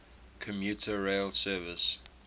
commuter rail service